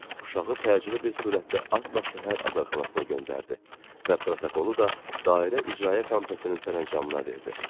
Uşağı təcili bir sürətdə atla şəhər azarxanasına göndərdi və protokolu da dairə icraya komitəsinin sərəncamına verdi.